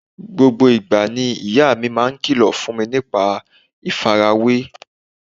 Gbogbo ìgbà ni ìyá mi máa ń kìlọ̀ fún ní nípa ìfarawé